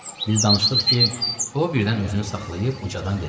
Biz danışdıq ki, o birdən özünü saxlayıb ucadan dedi.